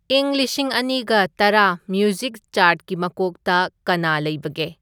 ꯏꯪ ꯂꯤꯁꯤꯡ ꯑꯅꯤꯒ ꯇꯔꯥ ꯃ꯭ꯌꯨꯁꯤꯛ ꯆꯥꯔ꯭ꯠꯀꯤ ꯃꯀꯣꯛꯇ ꯀꯅꯥ ꯂꯩꯕꯒꯦ